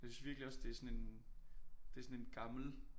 Jeg synes virkelig også det sådan en det sådan en gammel